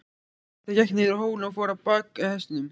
Marteinn gekk niður hólinn og fór á bak hestinum.